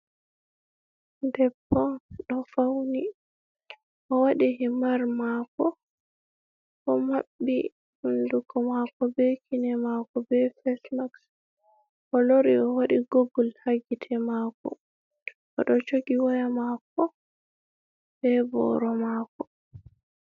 Debbo ɗo fawni, o waɗi himar maako, o maɓɓi hunduko maako, be kine maako be fesmaks, o lori o waɗi gogul ha gite maako, o ɗo jogi woya maako, be booro maako.